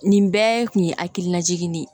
Nin bɛɛ kun ye hakilina jigin de ye